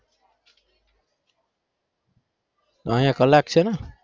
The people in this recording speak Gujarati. અહીંયા કલાક છે ને?